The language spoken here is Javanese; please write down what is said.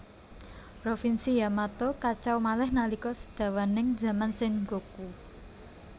Provinsi Yamato kacau malih nalika sedawaning zaman Sengoku